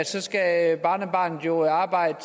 så skal barnebarnet jo arbejde